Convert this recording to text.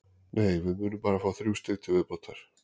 Nei, við munum bara fá þrjú stig til viðbótar.